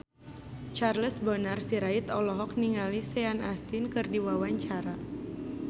Charles Bonar Sirait olohok ningali Sean Astin keur diwawancara